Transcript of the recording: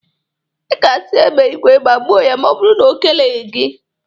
Ị ga-asị egbe igwe gbagbuo ya ma ọ bụrụ na o keleghi gị.